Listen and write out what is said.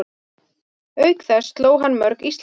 Auk þess sló hann mörg Íslandsmet